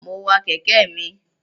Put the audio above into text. Mo wa kẹ̀kẹ́ mi.